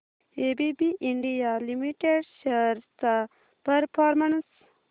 ABB India limited shares चा performance